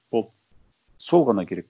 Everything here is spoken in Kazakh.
болды сол ғана керек